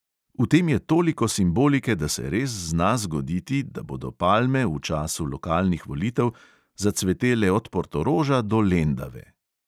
V tem je toliko simbolike, da se res zna zgoditi, da bodo palme v času lokalnih volitev zacvetele od portoroža do lendave.